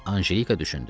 Anjelika düşündü.